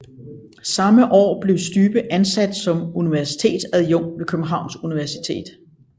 Samme år blev Stybe ansat som universitetsadjunkt ved Københavns Universitet